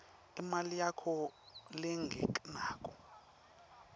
imali yakho lengenako